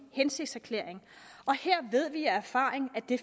hensigtserklæring og her ved vi af erfaring at det